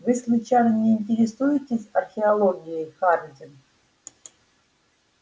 вы случайно не интересуетесь археологией хардин